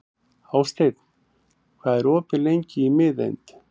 Hásteinn, hvað er opið lengi í Miðeind?